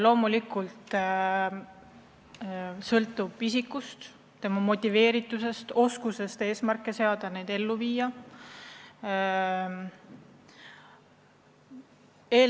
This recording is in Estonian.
Loomulikult sõltub palju isikust, tema motiveeritusest, oskusest eesmärke seada ja neid saavutada.